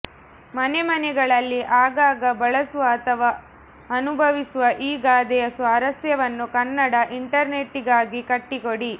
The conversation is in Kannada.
ಮನೆಮನೆಗಳಲ್ಲಿ ಆಗಾಗ ಬಳಸುವ ಅಥವಾ ಅನುಭವಿಸುವ ಈ ಗಾದೆಯ ಸ್ವಾರಸ್ಯವನ್ನು ಕನ್ನಡ ಇಂಟರ್ನೆಟ್ಟಿಗಾಗಿ ಕಟ್ಟಿಕೊಡಿ